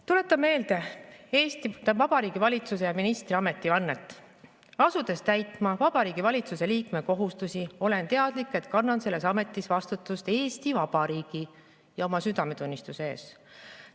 Tuletan meelde Eesti Vabariigi valitsuse ministri ametivannet: "Asudes täitma Vabariigi Valitsuse liikme kohustusi, olen teadlik, et kannan selles ametis vastutust Eesti Vabariigi ja oma südametunnistuse ees.